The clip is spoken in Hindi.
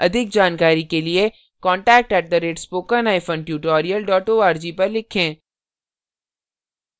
अधिक जानकारी के लिए contact @spokentutorial org पर लिखें